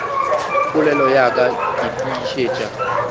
polelo ya ka ke tiišetša